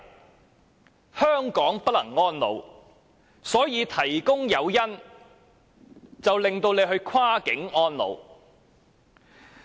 是否由於香港不能安老，所以才提供誘因鼓勵長者跨境安老？